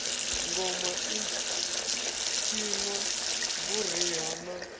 ngoma i tshinwa vhuriha na